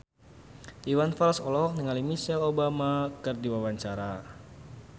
Iwan Fals olohok ningali Michelle Obama keur diwawancara